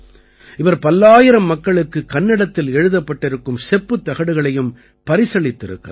இவர் பல்லாயிரம் மக்களுக்குக் கன்னடத்தில் எழுதப்பட்டிருக்கும் செப்புத் தகடுகளையும் பரிசளித்திருக்கிறார்